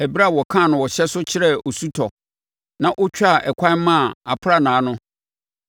ɛberɛ a ɔkaa no ɔhyɛ so kyerɛɛ osutɔ na ɔtwaa ɛkwan maa aprannaa no,